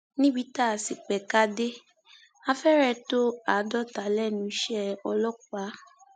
níbi tá a sì pẹka dé a fẹrẹ tó àádọta lẹnu iṣẹ ọlọpàá